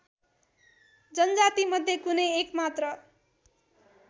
जनजातिमध्ये कुनै एकमात्र